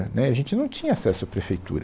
Né, A gente não tinha acesso à prefeitura.